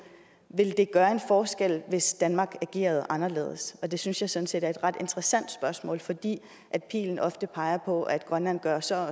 ville det gøre en forskel hvis danmark agerede anderledes det synes jeg sådan set er et ret interessant spørgsmål fordi pilen ofte peger på at grønland gør så